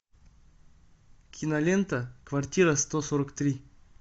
кинолента квартира сто сорок три